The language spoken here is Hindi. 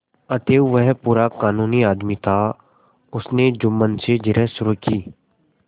अतएव वह पूरा कानूनी आदमी था उसने जुम्मन से जिरह शुरू की